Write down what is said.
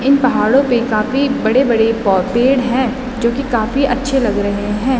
इन पहाडों पे काफी बड़े-बड़े पेड़ हैं जो कि काफी अच्छे लग रहें हैं।